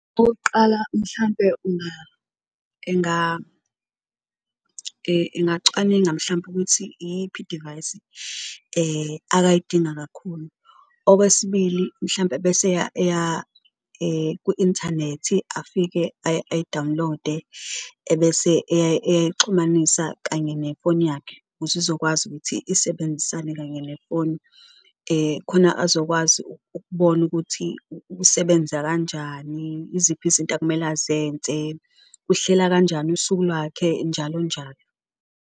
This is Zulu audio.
Okokuqala, mhlampe engacwaninga mhlampe ukuthi iyiphi idivayisi akayidinga kakhulu, okwesibili mhlampe bese eya ku-inthanethi afike ayi-download-e, ebese eyayixhumanisa kanye nefoni yakhe ukuze izokwazi ukuthi isebenzisane kanye nefoni . Khona azokwazi ukubona ukuthi usebenza kanjani, iziphi izinto akumele azenze, uhlela kanjani usuku lwakhe, njalo njalo.